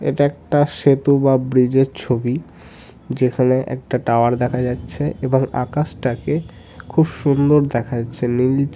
এটা একটা সেতু বা ব্রিজ - এর ছবি । যেখানে একটা টাওয়ার দেখা যাচ্ছে এবং আকাশটাকে খুব সুন্দর দেখাচ্ছে নীল --